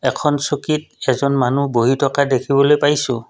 এখন চকীত এজন মানুহ বহি থকা দেখিবলৈ পাইছোঁ।